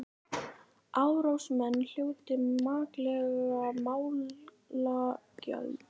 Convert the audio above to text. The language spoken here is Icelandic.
Árásarmenn hljóti makleg málagjöld